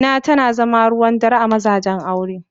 Zina ta zama ruwan dare a mazajen aure.